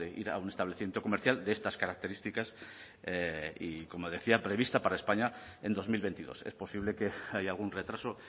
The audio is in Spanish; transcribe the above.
ir a un establecimiento comercial de estas características y como decía prevista para españa en dos mil veintidós es posible que haya algún retraso